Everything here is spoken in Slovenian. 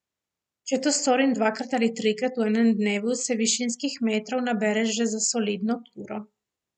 Če to storim dvakrat ali trikrat v enem dnevu, se višinskih metrov nabere že za solidno turo.